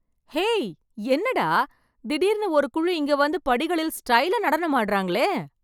ஹே என்னடா... திடீர்னு ஒரு குழு இங்க வந்து, படிகளில் ஸ்டைலா நடனம் ஆடறாங்களே...